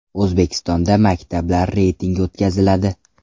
O‘zbekistonda maktablar reytingi o‘tkaziladi.